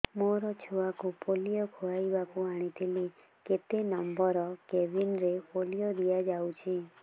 ମୋର ଛୁଆକୁ ପୋଲିଓ ଖୁଆଇବାକୁ ଆଣିଥିଲି କେତେ ନମ୍ବର କେବିନ ରେ ପୋଲିଓ ଦିଆଯାଉଛି